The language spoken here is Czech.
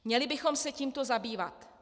Měli bychom se tímto zabývat.